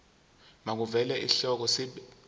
makuvele isihloko isib